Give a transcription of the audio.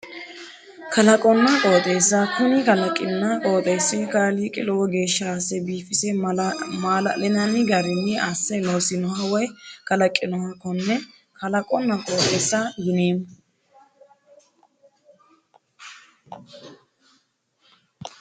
Kalaqonna qooxeessa kuni kalaqinna qooxeessi kaaliiqi lowo geeshssha asse biifise maala'linanni garinni asse loosinoha woyi kalaqinoha konne kalaqonna qooxeessa yineemmo